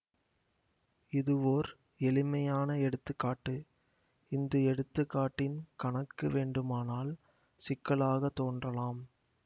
இதுவோர் எளிமையான எடுத்து காட்டு இந்த எடுத்துக்காட்டின் கணக்கு வேண்டுமானால் சிக்கலாக தோன்றலாம்